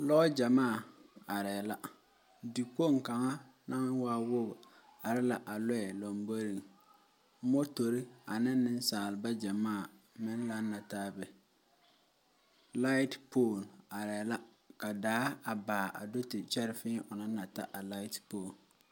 Lɔɔ gyɛmaa aree la, dikpoŋ kaŋa naŋ waa wogi are la a lɔɛ lamboriŋ, motori ane nensaalba gyɛmaa meŋ laŋe la taa be, laatripol aree la ka daa a baa a do te kyɛre feeŋ o naŋ na ta laatripol.